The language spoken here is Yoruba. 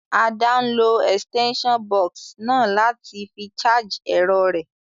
Ada n lo extension box náà láti fi charge èrọ rẹ́